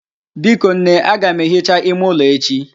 Biko nne, aga m ehicha ime ụlọ echi.